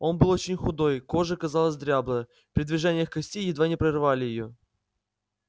он был очень худой кожа казалась дряблой при движениях кости едва не прорывали её